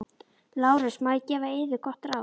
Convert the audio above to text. LÁRUS: Má ég gefa yður gott ráð?